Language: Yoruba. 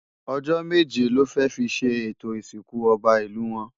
Ojò méjé lò fè fi ṣé étó Isinkú Òbá Ilú wòn